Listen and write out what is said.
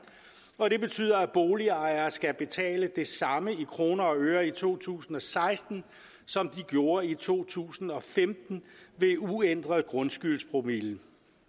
og det betyder at boligejere skal betale det samme i kroner og øre i to tusind og seksten som de gjorde i to tusind og femten ved uændret grundskyldspromille